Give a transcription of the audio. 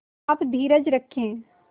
आप धीरज रखें